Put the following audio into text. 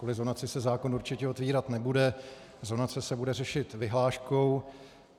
Kvůli zonaci se zákon určitě otevírat nebude, zonace se bude řešit vyhláškou.